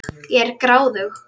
Ég er gráðug.